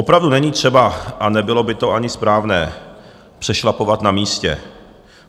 Opravdu není třeba, a nebylo by to ani správné, přešlapovat na místě.